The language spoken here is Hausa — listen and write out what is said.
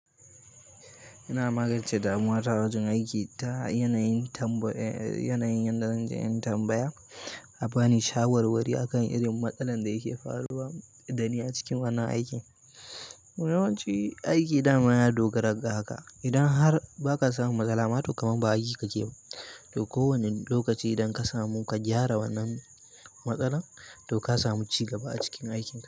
Ina magance damuwa ta wajen aiki ta yanayin yanayin yanda da zanje in tambaya, a ba ni shawarwari a kan irin matsalar ya ke faruwa dani a cikin wannan aiki. To yawanci aiki da mayada dogara ga haka. Idan har ba ka samu matsala ma, to kamar ba aiki kake yiba. To kowane lokaci idan ka samu ka gyara wannan matsalar, to ka samu ci gaba a cikin aikin.